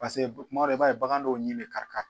Paseke kuma dɔ i b'a ye bagan dɔw ɲini bɛ kari kari